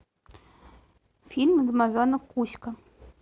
фильм домовенок кузька